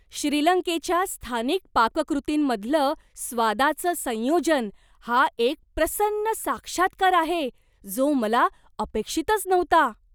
श्रीलंकेच्या स्थानिक पाककृतींमधलं स्वादाचं संयोजन हा एक प्रसन्न साक्षात्कार आहे, जो मला अपेक्षितच नव्हता.